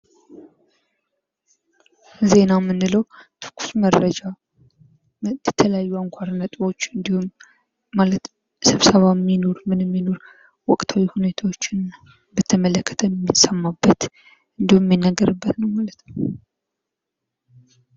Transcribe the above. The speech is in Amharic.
ዜና የምንለው ትኩስ መረጃ የተለያዩ አንኳር ነጥቦች እንዲሁም ማለተም ስብሰባም ይኑር ምንም ይኑር ወቅታዊ ሁኒታዎችን በተመለከተ የምን ሰማበት እንዲሁም የሚነገርበት ነው ማለት ነው።